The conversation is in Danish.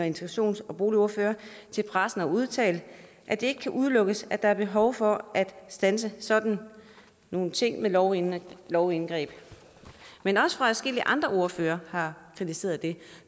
integrationsordfører har til pressen udtalt at det ikke kan udelukkes at der er behov for at standse sådan nogle ting ved lovindgreb lovindgreb men også adskillige andre ordførere har kritiseret det